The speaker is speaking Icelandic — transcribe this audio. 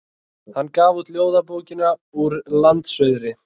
Hann gaf út ljóðabókina Úr landsuðri.